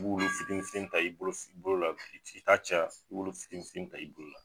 I b'olu fitinin fitinin ta i bolo la i ta caya i b'olu fitinin fitinin ta i bolo la.